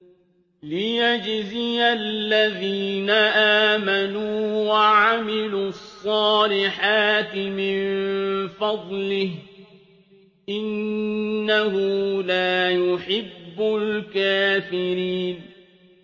لِيَجْزِيَ الَّذِينَ آمَنُوا وَعَمِلُوا الصَّالِحَاتِ مِن فَضْلِهِ ۚ إِنَّهُ لَا يُحِبُّ الْكَافِرِينَ